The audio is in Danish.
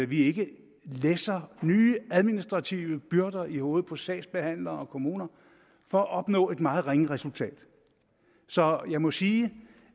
vi ikke læsser nye administrative byrder i hovedet på sagsbehandlere og kommuner for at opnå et meget ringe resultat så jeg må sige